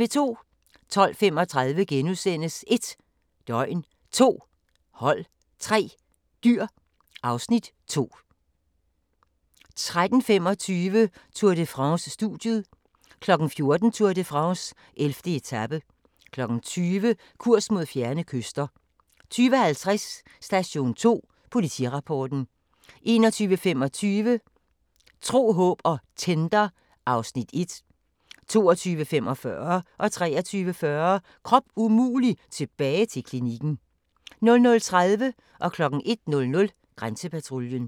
12:35: 1 døgn, 2 hold, 3 dyr (Afs. 2)* 13:25: Tour de France: Studiet 14:00: Tour de France: 11. etape 20:00: Kurs mod fjerne kyster 20:50: Station 2: Politirapporten 21:25: Tro, håb og Tinder (Afs. 1) 22:45: Krop umulig - tilbage til klinikken 23:40: Krop umulig - tilbage til klinikken 00:30: Grænsepatruljen 01:00: Grænsepatruljen